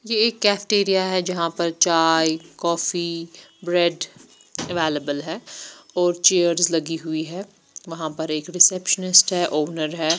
ये एक कैफ़ेटेरिया है जहा पर चाये कॉफ़ी ब्रेड अवेलेबल है और चेयर लगी हुई है वहा पर एक रीसेप्सनिस्ट है ओनर है।